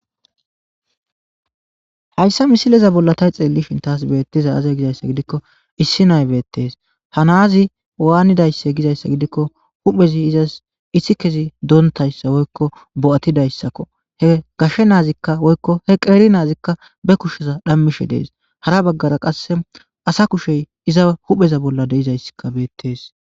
Hayssa misileza bolla tay xeellishin taas beettiza aze gizayssa gidikko issi nay beettees hanaazi waannidaysse gizayssa gidikko huphezi izas issi kezi doontayssa woykko bo7atidayssakko he gashshe naazikka woykko he qeeri naazikka be kusheza dhammishe dees hara baggara qasse asa kushey iza hupheza bolla deizayssika beettees.